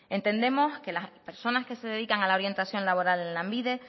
entendemos que las personas que se dedican a la orientación laboral en lanbide